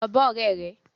Lọ bá ọ̀rẹ́ rẹ.